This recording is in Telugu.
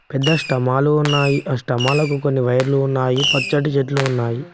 పెద్ద స్టమాలు ఉన్నాయి ఆ స్టమాలకు కొన్ని వైర్లు ఉన్నాయి పచ్చటి చెట్లు ఉన్నాయి.